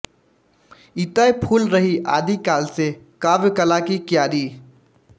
इतै फूल रही आदि काल से काव्य कला की क्यारी